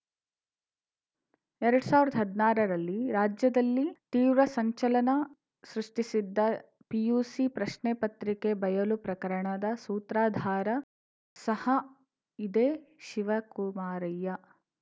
ಎರಡ್ ಸಾವಿರ್ದಾ ಹದ್ನಾರ ರಲ್ಲಿ ರಾಜ್ಯದಲ್ಲಿ ತೀವ್ರ ಸಂಚಲನ ಸೃಷ್ಟಿಸಿದ್ದ ಪಿಯುಸಿ ಪ್ರಶ್ನೆ ಪತ್ರಿಕೆ ಬಯಲು ಪ್ರಕರಣದ ಸೂತ್ರಧಾರ ಸಹ ಇದೇ ಶಿವಕುಮಾರಯ್ಯ